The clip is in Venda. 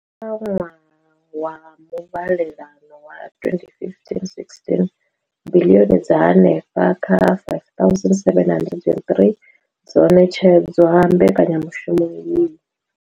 Kha ṅwaha wa muvhalelano wa 2015,16, biḽioni dza henefha kha R5 703 dzo ṋetshedzwa mbekanya mushumo iyi.